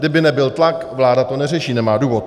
Kdyby nebyl tlak, vláda to neřeší, nemá důvod.